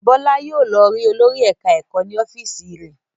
Bọ́lá yóò lọ rí olórí ẹ̀ka-ẹ̀kọ́ ní ọ́fíísì rẹ̀.